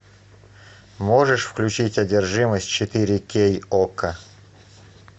можешь включить одержимость четыре кей окко